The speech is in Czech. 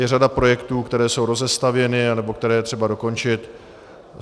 Je řada projektů, které jsou rozestavěny nebo které je třeba dokončit.